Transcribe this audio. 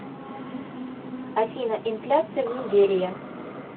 афина инфляция в нигерия